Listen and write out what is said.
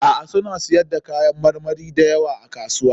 Suna siyar da kayan marmari da yawa a kasuwa.